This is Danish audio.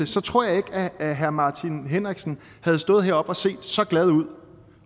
så tror jeg ikke at at herre martin henriksen havde stået heroppe og set så glad ud